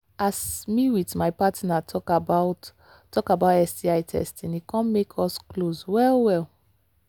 as me with my partner talk about talk about sti testing e come make us close well well